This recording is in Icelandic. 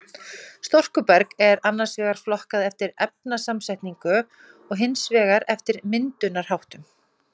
Storkuberg er annars vegar flokkað eftir efnasamsetningu og hins vegar eftir myndunarháttum.